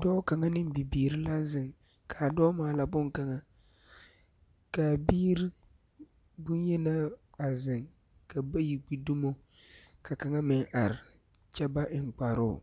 Dͻͻ kaŋa ne bibiiri la zeŋ, kaa dͻͻ maala boŋkaŋa. Ka a biiri boŋyenaa a zeŋ, ka bayi gbi dumo ka kaŋa meŋ are kyԑ ba eŋ kparoŋ.